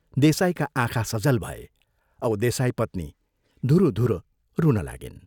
देसाईका आँखा सजल भए औ देसाईपत्नी धुरु धुरु रुन लागिन्।